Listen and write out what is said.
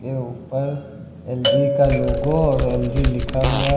के ऊपर एल_जी का लोगो और एल_जी लिखा हुआ है।